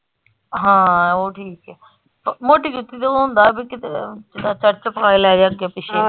ਹਾਂ ਉਹ ਠੀਕ ਆ ਮੋਟੀ ਜੁੱਤੀ ਦਾ ਹੁੰਦਾ ਬੀ ਕੀਤੇ ਅੱਗੇ ਪਿੱਛੇ।